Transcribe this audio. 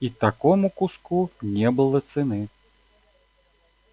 и такому куску не было цены